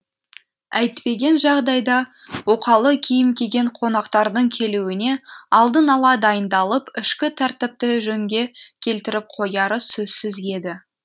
әйтпеген жағдайда оқалы киім киген қонақтардың келуіне алдын ала дайындалып ішкі тәртіпті жөнге келтіріп қояры сөзсіз еді